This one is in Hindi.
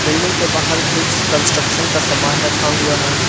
बिल्डिंग के बाहर कुछ कंस्ट्रक्शन का सामान रखा हुआ है।